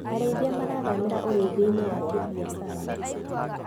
Arĩithia marathamĩra ũrĩithiainĩ wa kĩmbiacara.